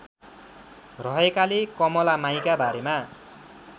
रहेकाले कमलामाइका बारेमा